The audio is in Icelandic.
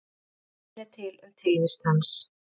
Engin sönnun er til um tilvist hans.